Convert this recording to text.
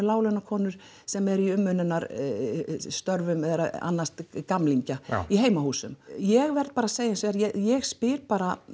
láglaunakonur sem eru í umönnunarstörfum eru að annast gamlingja í heimahúsum ég verð bara að segja eins og er ég spyr